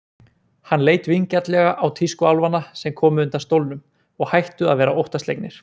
Hann leit vingjarnlega á tískuálfana sem komu undan stólnum og hættu að vera óttaslegnir.